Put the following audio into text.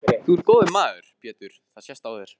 Þú ert góður maður Pétur það sést á þér.